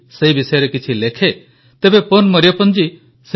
ମଜାକଥା ନୁହେଁ କି ତେବେ ଚାଲନ୍ତୁ ତୁତୁକୁଡ଼ି ପନ୍ ମରିୟପ୍ପନଜୀଙ୍କ ସହ କଥାହେବା